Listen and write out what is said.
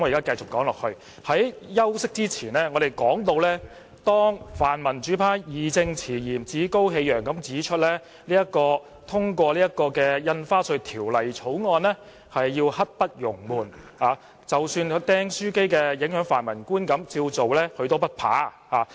在休息前，我談到泛民主派議員義正詞嚴、趾高氣揚地表示通過《條例草案》刻不容緩，即使"釘書機事件"影響市民對泛民的觀感，他們也不怕。